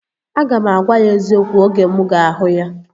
Aga m agwa ya eziokwu oge mụ ga-ahụ ya